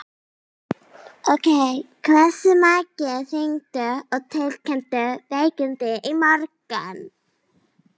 Hversu margir hringdu og tilkynntu veikindi í morgun?